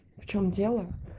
в чем дело